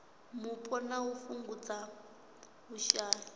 mupo na u fhungudza vhushai